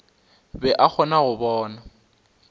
be a kgona go bona